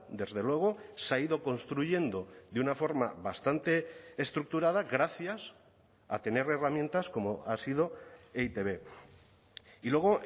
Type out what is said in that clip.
desde luego se ha ido construyendo de una forma bastante estructurada gracias a tener herramientas como ha sido e i te be y luego